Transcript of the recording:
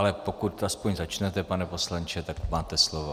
Ale pokud aspoň začnete, pane poslanče, tak máte slovo.